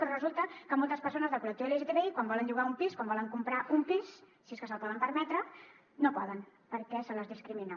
però resulta que moltes persones del col·lectiu lgtbi quan volen llogar un pis quan volen comprar un pis si és que se’l poden permetre no poden perquè se les discrimina